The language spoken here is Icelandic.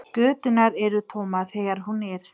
Göturnar eru tómar þegar hún er.